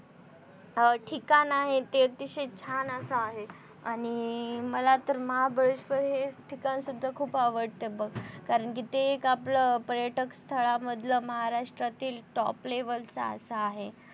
ठिकाण आहे ते अतिशय छान असं आहे आणि मला तर महाबळेश्वर हे ठिकाण सुद्धा खूप आवडत बघ कारण कि ते आपलं पर्यटकस्थळामधलं महाराष्ट्रातील top level च असं आहे.